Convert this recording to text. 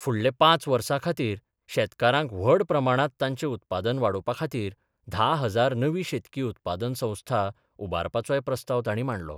फुडले पांच वर्सा खातीर शेतकारांक व्हड प्रमाणांत तांचें उत्पादन वाडोवपा खातीर धा हजार नवी शेतकी उत्पादन संस्था उबारपाचोय प्रस्ताव तांणी मांडलो.